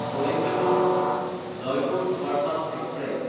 কইম্বেটৰ–জয়পুৰ superfast express